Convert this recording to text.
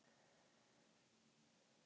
Armenía, læstu útidyrunum.